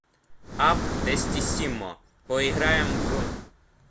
апп тестиссимо поиграем в